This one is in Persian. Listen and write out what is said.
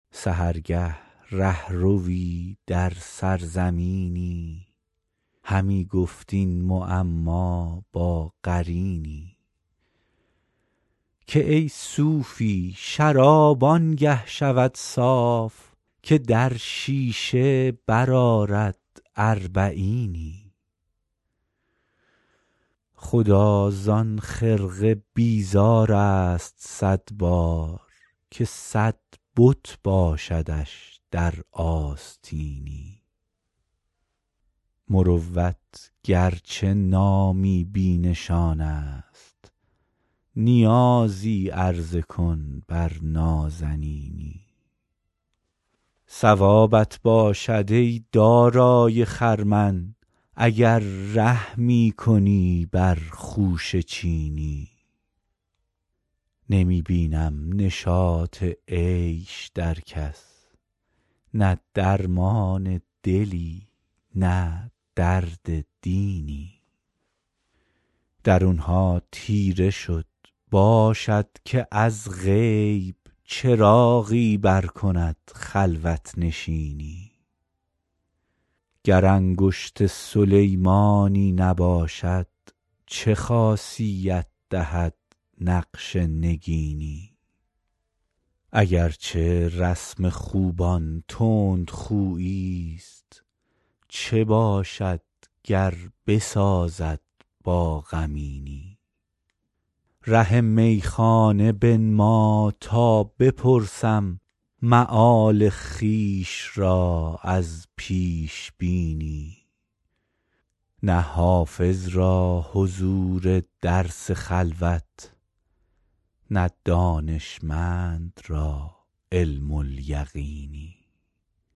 سحرگه ره ‎روی در سرزمینی همی گفت این معما با قرینی که ای صوفی شراب آن گه شود صاف که در شیشه برآرد اربعینی خدا زان خرقه بیزار است صد بار که صد بت باشدش در آستینی مروت گر چه نامی بی نشان است نیازی عرضه کن بر نازنینی ثوابت باشد ای دارای خرمن اگر رحمی کنی بر خوشه چینی نمی بینم نشاط عیش در کس نه درمان دلی نه درد دینی درون ها تیره شد باشد که از غیب چراغی برکند خلوت نشینی گر انگشت سلیمانی نباشد چه خاصیت دهد نقش نگینی اگر چه رسم خوبان تندخویی ست چه باشد گر بسازد با غمینی ره میخانه بنما تا بپرسم مآل خویش را از پیش بینی نه حافظ را حضور درس خلوت نه دانشمند را علم الیقینی